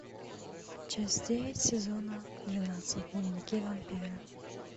часть девять сезона двенадцать дневники вампира